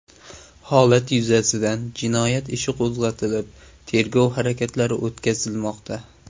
Holat yuzasidan jinoyat ishi qo‘zg‘atilib, tergov harakatlari o‘tkazilmoqda.